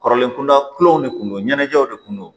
Kɔrɔlen kunda kulonw de tun don ɲɛnajɛw de kun don